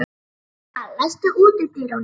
Valentína, læstu útidyrunum.